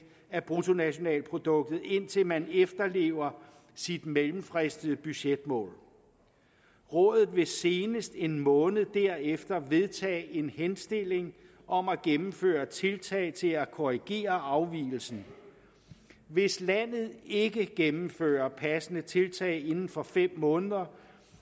af bruttonationalproduktet indtil man efterlever sit mellemfristede budgetmål rådet vil senest en måned derefter vedtage en henstilling om at gennemføre tiltag til at korrigere afvigelsen hvis landet ikke gennemfører passende tiltag inden for fem måneder